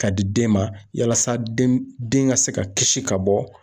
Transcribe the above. Ka di den ma yalasa den den ka se ka kisi ka bɔ.